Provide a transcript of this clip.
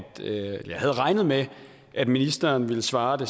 det jeg havde regnet med at ministeren ville svare at det